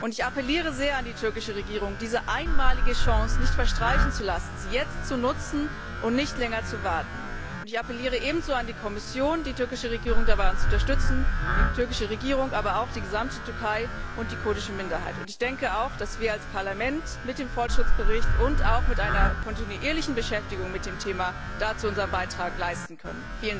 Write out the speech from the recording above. Ich appelliere sehr an die türkische Regierung, diese einmalige Chance nicht verstreichen zu lassen, sie jetzt zu nutzen und nicht länger zu warten, und ich appelliere ebenso an die Kommission, die türkische Regierung dabei zu unterstützen die türkische Regierung, aber auch die gesamte Türkei und die kurdische Minderheit und ich denke auch, dass wir als Parlament mit dem Fortschrittsbericht und auch mit einer kontinuierlichen Beschäftigung mit dem Thema dazu unseren Beitrag leisten können.